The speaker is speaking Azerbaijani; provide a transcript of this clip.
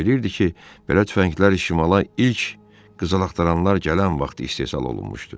O bilirdi ki, belə tüfənglər şimala ilk qızıl axtaranlar gələn vaxt istehsal olunmuşdu.